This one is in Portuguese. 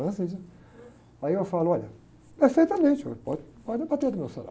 Aí eu falo, olha, perfeitamente, ué, pode, pode bater no meu salário.